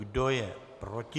Kdo je proti?